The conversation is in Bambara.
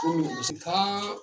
Ko min kun bɛ se ka